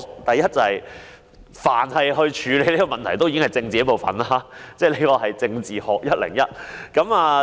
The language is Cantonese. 第一，處理這些問題已經是政治的一部分，這是"政治學 101"。